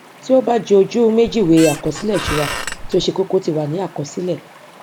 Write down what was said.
tí ó bá jẹ ojú méjììwé àkọsílẹ ìṣura tí ó ṣe kókó ti wà ní àkọsílẹ